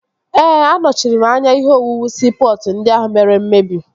Ee, anọchiri anya ihe owuwu siipọtụ ndị ahụ mere mmebi